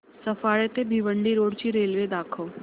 सफाळे ते भिवंडी रोड ची रेल्वे दाखव